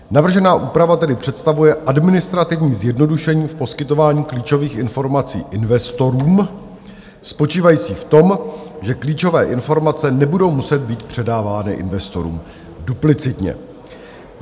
Navržená úprava tedy představuje administrativní zjednodušení v poskytování klíčových informací investorům spočívající v tom, že klíčové informace nebudou muset být předávány investorům duplicitně.